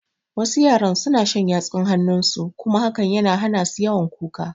Wasu yaran suna shan yatsun hanun su kuma hakan na hana su yawan kuka